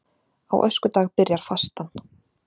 Á öskudag byrjar fastan